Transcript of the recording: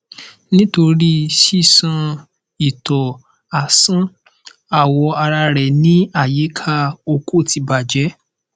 nitori sisan ito asan awọ ara rẹ ni ayika oko ti bajẹ